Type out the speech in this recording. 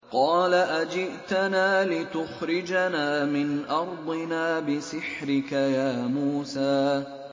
قَالَ أَجِئْتَنَا لِتُخْرِجَنَا مِنْ أَرْضِنَا بِسِحْرِكَ يَا مُوسَىٰ